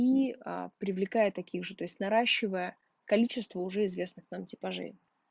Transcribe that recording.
и а привлекая таких же то есть наращивания количества уже известных нам типажей